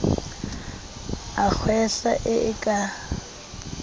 a kgwehla e e ka